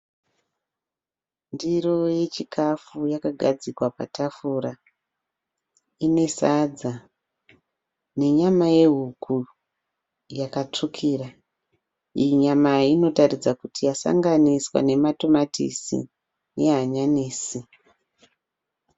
Ndiro yechikafu yakagadzikwa patafura ine sadza nenyama yehuku yakatsvukira. Iyi nyama inotaridza kuti yasanganiswa nematomatisi nehanyanisi.